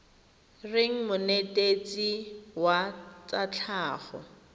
reng monetetshi wa tsa tlhago